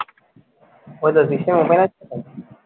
ও তোর system open আছে?